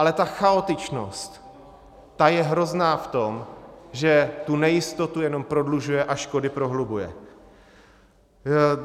Ale ta chaotičnost, ta je hrozná v tom, že tu nejistotu jenom prodlužuje a škody prohlubuje.